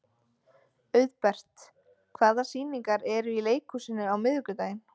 Auðbert, hvaða sýningar eru í leikhúsinu á miðvikudaginn?